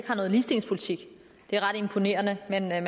har nogen ligestillingspolitik det er ret imponerende men man